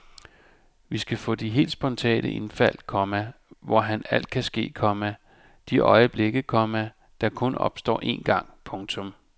Vi skal få de helt spontane indfald, komma hvor alt kan ske, komma de øjeblikke, komma der kun opstår en gang. punktum